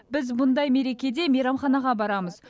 біз мұндай мерекеде мейрамханаға барамыз